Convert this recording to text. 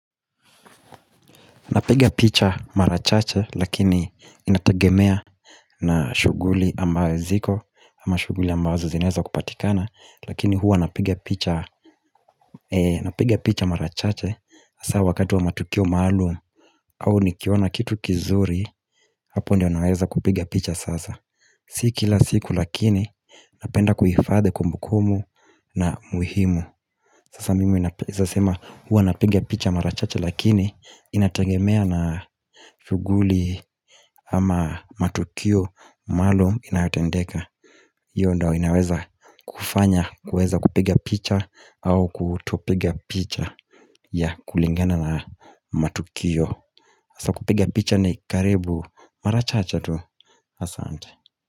Napiga picha mara chache lakini inatagemea na shughuli ambayo ziko ama shughuli ambazo zinaeza kupatikana Lakini huwa napiga picha mara chache hasa wakati wa matukio maalum au nikiona kitu kizuri Hapo ndio naweza kupiga picha sasa Si kila siku lakini napenda kuhifadhi kumbu kumbu na muhimu Sasa mimi naeza sema huwa napiga picha mara chache lakini inatengemea na shughuli ama matukio maalum inayotendeka hiyo ndio inaweza kufanya kuweza kupiga picha au kutopiga picha yeah kulingana na matukio hasa kupiga picha ni karibu mara chache tu asante.